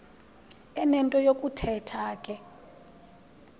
enento yokuthetha ke